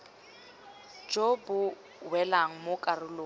jo bo welang mo karolong